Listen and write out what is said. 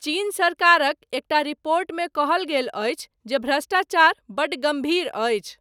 चीन सरकारक एकटा रिपोर्टमे कहल गेल अछि, जे भ्रष्टाचार, 'बड्ड गम्भीर' अछि।